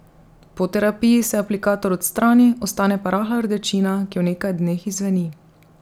Po terapiji se aplikator odstrani, ostane pa rahla rdečina, ki v nekaj dneh izzveni.